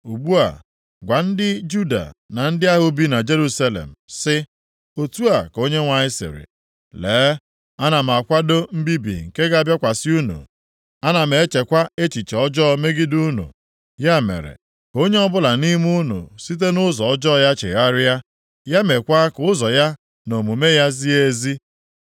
“Ugbu a, gwa ndị Juda na ndị ahụ bi na Jerusalem, sị, ‘Otu a ka Onyenwe anyị sịrị: Lee, ana m akwado mbibi nke ga-abịakwasị unu; ana m echekwa echiche ọjọọ megide unu. Ya mere, ka onye ọbụla nʼime unu site nʼụzọ ọjọọ ya chegharịa, ya meekwa ka ụzọ ya na omume ya zie ezi.’